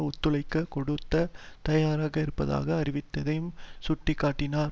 ஒத்துழைப்பு கொடுக்க தயாராக இருப்பதாக அறிவித்ததையும் சுட்டி காட்டினார்